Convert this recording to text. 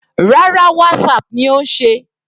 Rárá, Whatsapp ni ó ń ṣe.